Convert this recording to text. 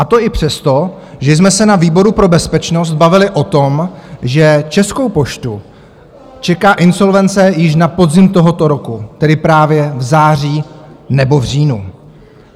A to i přesto, že jsme se na výboru pro bezpečnost bavili o tom, že Českou poštu čeká insolvence již na podzim tohoto roku, tedy právě v září nebo v říjnu.